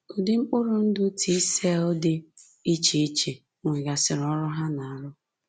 Ụdị mkpụrụ ndụ T cell dị iche iche nwegasịrị ọrụ ha na-arụ